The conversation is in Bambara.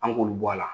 An k'olu bɔ a la